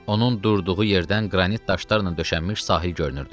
Onun durduğu yerdən qranit daşlarla döşənmiş sahil görünürdü.